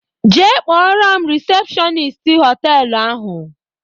Jee kpọrọ m risepshọnist họtelu ahụ!